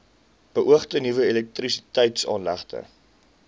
beoogde nuwe elektrisiteitsaanlegte